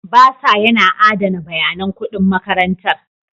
Bursar yana adana bayanan kuɗin makarantar.